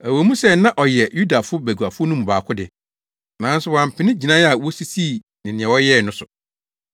Ɛwɔ mu sɛ na ɔyɛ Yudafo baguafo no mu baako de, nanso wampene gyinae a wosisii ne nea wɔyɛɛ no so.